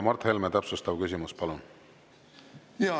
Mart Helme, täpsustav küsimus, palun!